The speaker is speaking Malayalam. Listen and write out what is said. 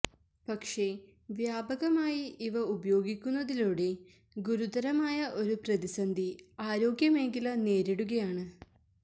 പക്ഷേ വ്യാപകമായി ഇവ ഉപയോഗിക്കുന്നതിലൂടെ ഗുരുതരമായ ഒരു പ്രതിസന്ധി ആരോഗ്യമേഖല നേരിടുകയാണ്